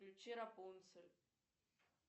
включи рапунцель